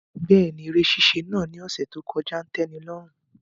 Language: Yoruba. Bẹẹni, ere ṣiṣe naa ni ọsẹ to kọja n tẹnilọrun